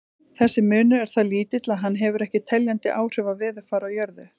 Þessi munur er það lítill að hann hefur ekki teljandi áhrif á veðurfar á jörðu.